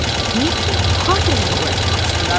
Niyə bütün xatırələri oyatmaq istəyir?